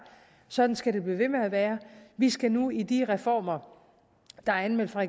sådan skal det blive ved med at være vi skal nu i de reformer der er anmeldt fra